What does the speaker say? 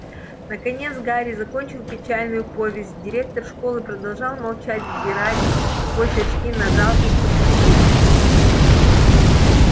наконец гарри закончил печальную повесть директор школы продолжал молча взирать сквозь очки на жалких подсудимых